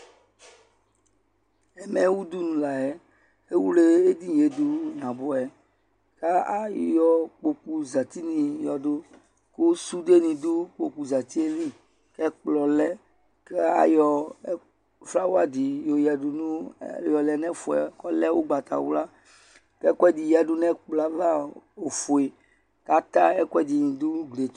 Ɛmɛ ydy nu layɛ Ɛwle edinie do naboɛ kayɔ kpokuo zati ne yɔdo ko sude ne do ukpoku zatie lli Ɛkplɔ lɛ kayɔ flawa de yɔ yadu no, yɔ lɛ nɛfuɛ ko ɔlɛ ugbatawla kɛ kuɛde yadu nɛ ɛkplɔ ava, ɔlɛ ofue ka ta ɛkuɛde do no uglie to